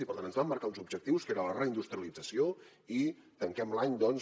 i per tant ens vam marcar un objectiu que era la reindustrialització i tanquem l’any doncs